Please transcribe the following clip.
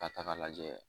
Ka taga lajɛ